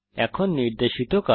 এখন নির্দেশিত কাজ